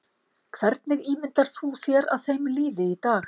Hvernig ímyndar þú þér að þeim líði í dag?